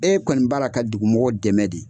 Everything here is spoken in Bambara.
E kɔni b'a la ka dugumɔgɔw dɛmɛ de